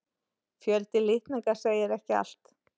Fjöldi litninga segir ekki allt.